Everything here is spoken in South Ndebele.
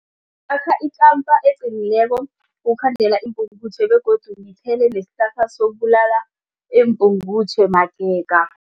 Akhe eqinileko ukukhandela iimpungutjhe begodu ngithele nesihlahla sokubulala iimpungutjhe magega.